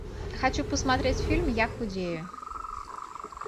хочу посмотреть фильм я худею